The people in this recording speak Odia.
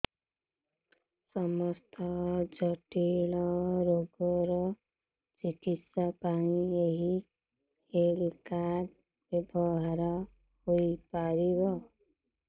ସମସ୍ତ ଜଟିଳ ରୋଗର ଚିକିତ୍ସା ପାଇଁ ଏହି ହେଲ୍ଥ କାର୍ଡ ବ୍ୟବହାର ହୋଇପାରିବ